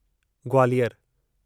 ग्वालियरु